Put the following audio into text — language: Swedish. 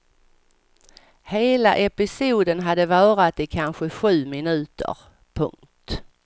Hela episoden hade varat i kanske sju minuter. punkt